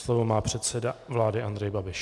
Slovo má předseda vlády Andrej Babiš.